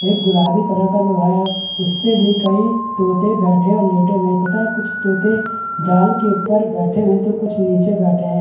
एक गुलाबी कलर का लोहा है उसपे भी कई तोते बैठे और लेटे हुए है तथा कुछ तोते जाल के उपर बैठे हुए है तो कुछ नीचे बैठे हैं ।